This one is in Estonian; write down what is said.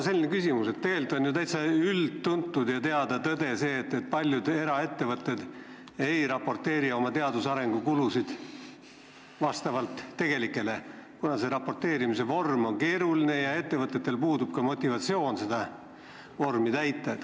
Tegelikult on ju üldtuntud ja teada tõde see, et paljud eraettevõtted ei raporteeri oma tegelikke teadus- ja arenduskulusid, kuna raporteerimise vorm on keeruline ja ettevõtetel puudub motivatsioon seda vormi täita.